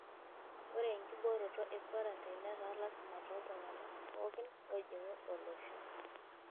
Ore enkibooroto e kwarantain netaa lasima tooltung'gana pookin oojing'u olosho.